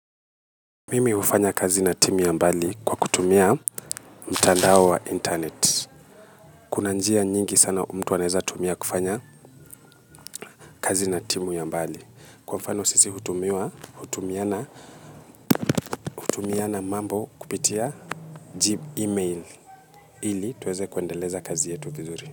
Mimi hufanya kazi na timu ya mbali kwa kutumia mtandao wa internet. Kuna njia nyingi sana mtu anaeza tumia kufanya kazi na timu ya mbali. Kwa mfano sisi hutumiana mambo kupitia jib email ili tuweze kuendeleza kazi yetu vizuri.